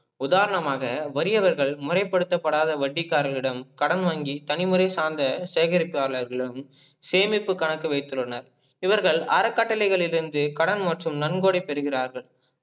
உதாரணமாக வறியவர்கள் முறைபடுதப்படாத வட்டிக்காரரிடம் கடன் வாங்கி தனிமுறை சார்ந்த சேகரிப்பு ஆலரிகளிடம் சேமிப்பு கணக்கு வைத்துள்ளன. இவர்கள் அறக்கட்டளைகளிருந்து கடன் மற்றும் நன்கொடை பெறுகிறார்கள்